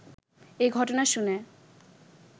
এ ঘটনা শুনে